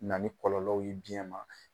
Na ni kɔlɔlɔw ye biyɛn ma